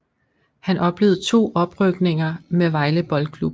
Han oplevede to oprykninger med Vejle Boldklub